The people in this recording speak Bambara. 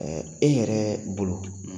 e yɛrɛɛ bolo